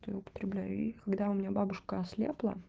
то я употребляю их когда у меня бабушка ослепла